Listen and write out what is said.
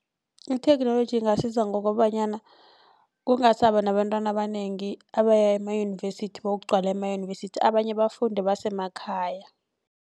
Itheknoloji ingasiza ngokobanyana kungasaba nabantwana abanengi abaya emayunivesithi bayokugcwala emayunivesithi abanye bafunde basemakhaya.